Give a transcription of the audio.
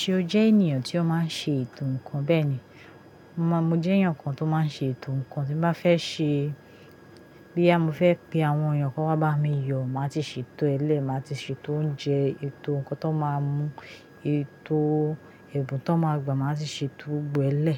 Ṣé o jẹ́ ènìyàn tí ó máa ń ṣe ètò ǹkan? Bẹ́ẹ̀ni, mo jẹ́ ènìyàn kan tó máa ń ṣe ètò ǹkan. Tí mo bá fẹ́ ṣe-- bo ya mo fẹ́ pe àwọn ènìyàn kó wá bá mi yọ̀, màá ti ṣètò e le, màá ti ṣètò oúnjẹ, ètò ǹkan tó máa mú, ètò ẹ̀bùn tó máa gbà, màá ti ṣètò gbogbo e le.